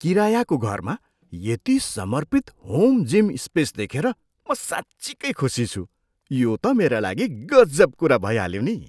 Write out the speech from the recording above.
किरायाको घरमा यति समर्पित होम जिम स्पेस देखेर म साँच्चिकै खुसी छु, यो त मेरा लागि गजब कुरा भइहाल्यो नि।